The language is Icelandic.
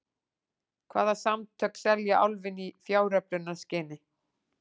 Hvaða samtök selja Álfinn í fjáröflunarskyni?